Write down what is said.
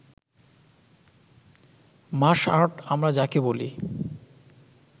মাস art আমরা যাকে বলি